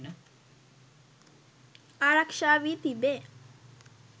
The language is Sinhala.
ආරක්ෂා වී තිබේ.